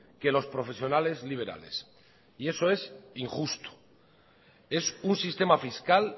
que los profesionales liberales y eso es injusto es un sistema fiscal